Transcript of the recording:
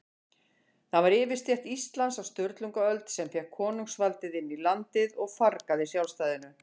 Það var yfirstétt Íslands á Sturlungaöld, sem fékk konungsvaldið inn í landið og fargaði sjálfstæðinu.